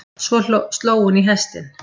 Svo sló hún í hestinn.